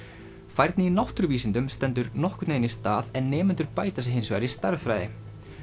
færni í náttúruvísindum stendur nokkurn veginn í stað en nemendur bæta sig hins vegar í stærðfræði